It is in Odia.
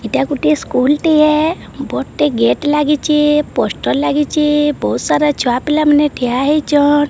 ଏଟା ଗୋଟିଏ ସ୍କୁଲ ଟିଏ। ବଡ୍ ଟେ ଗେଟ୍ ଲାଗିଚେ। ପୋଷ୍ଟର ଲାଗିଚେ। ବୋହୁତ ସାରା ଛୁଆ ପିଲା ମାନେ ଠିଆ ହେଇଚନ୍।